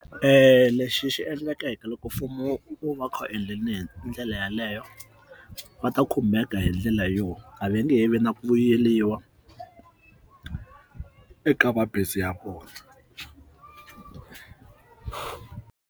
Lexi xi endlekaka loko mfumo wu va kha endleleni ndlela yaleyo va ta khumbeka hi ndlela yo a va nge he vi na ku vuyeriwa eka mabindzu ya vona.